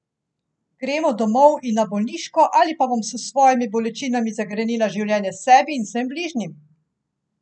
Gremo domov in na bolniško ali pa bom s svojimi bolečinami zagrenila življenje sebi in vsem bližnjim?